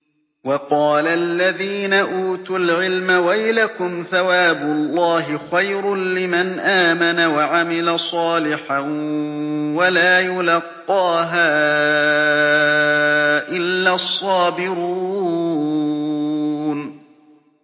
وَقَالَ الَّذِينَ أُوتُوا الْعِلْمَ وَيْلَكُمْ ثَوَابُ اللَّهِ خَيْرٌ لِّمَنْ آمَنَ وَعَمِلَ صَالِحًا وَلَا يُلَقَّاهَا إِلَّا الصَّابِرُونَ